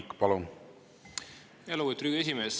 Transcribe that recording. Lugupeetud Riigikogu esimees!